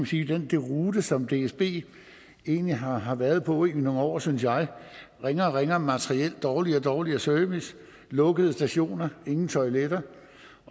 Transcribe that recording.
sige deroute som dsb egentlig har har været på i nogle år synes jeg ringere og ringere materiel dårligere og dårligere service lukkede stationer ingen toiletter